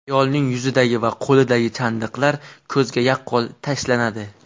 Ayolning yuzidagi va qo‘lidagi chandiqlar ko‘zga yaqqol tashlanadi.